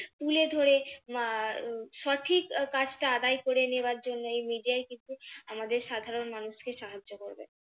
তুলে ধরে আহ সঠিক কাজটা আদায় করে নেওয়ার জন্য এই media ই কিন্তু আমাদের সাধারণ মানুষকে সাহায্য করবে।